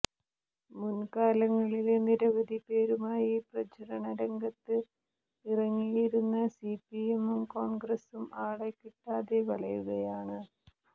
മുന്കാലങ്ങളില് നിരവധി പേരുമായി പ്രചരണ രംഗത്ത് ഇറങ്ങിയിരുന്ന സിപിഎമ്മും കോണ്ഗ്രസും ആളെ കിട്ടാതെ വലയുകയാണ്